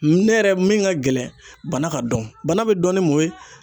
Ne yɛrɛ min ka gɛlɛn bana ka dɔn bana bɛ dɔn ni mun ye.